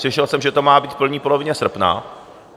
Slyšel jsem, že to má být v první polovině srpna.